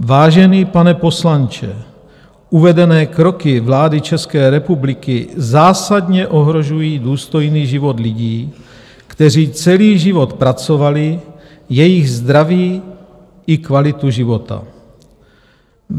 Vážený pane poslanče, uvedené kroky vlády České republiky zásadně ohrožují důstojný život lidí, kteří celý život pracovali, jejich zdraví i kvalitu života.